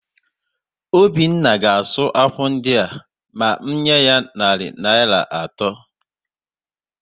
Obinna ga-asụ ákwà ndịa ma m nyé ya narị Naịra atọ